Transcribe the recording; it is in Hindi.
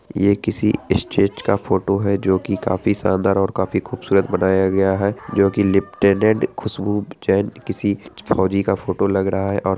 ये किसी स्टेज का फोटो है जो की काफी शानदार और काफी खूबसूरत बनाया गया है जो की लिप्तिनेंट खुशबू जैन किसी फौजी का फोटो लग रहा है और --